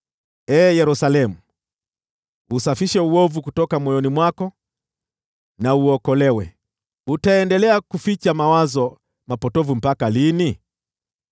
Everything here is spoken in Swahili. Ee Yerusalemu, usafishe uovu kutoka moyoni mwako na uokolewe. Utaendelea kuficha mawazo mapotovu mpaka lini?